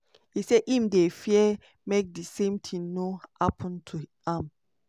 e say im dey fear make di same tin no happun to am.